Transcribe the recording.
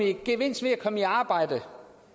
en gevinst ved at komme i arbejde